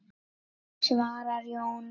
svarar Jón.